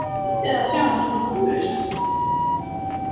Skrýtið að sjá hann svona húfulausan.